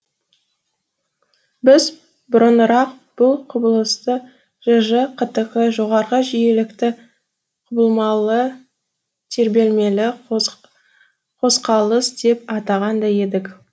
біз бұрынырақ бұл құбылысты жж қтқ жоғарғы жиілікті құбылмалы тербелмелі қозқалыс деп атаған да едік